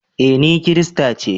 Eh, ni kirista ce.